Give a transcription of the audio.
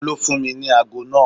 Ò n ló fún mi ní ago náà.